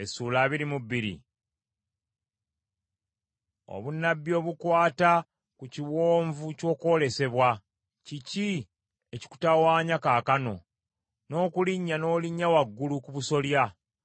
Obunnabbi obukwata ku Kiwonvu ky’Okwolesebwa: Kiki ekikutawanya kaakano, n’okulinnya n’olinnya waggulu ku busolya,